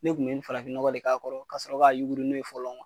Ne tun be nin farafin nɔgɔ de k'a kɔrɔ kasɔrɔ k'a yuguri n'o ye fɔlɔ ŋuwa